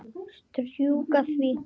Strjúka því.